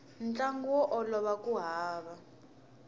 ntlangu wo olova ku hava